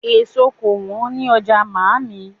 Èso kò wọ́n ní ọjà mààmí